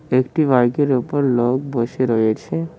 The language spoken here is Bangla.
একটি বাইকের উপর লোক বসে রয়েছে।